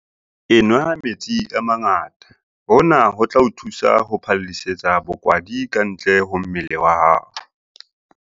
Enwa metsi a mangata - hona ho tla o thusa ho phallisetsa bokwadi kantle ho mmele wa hao.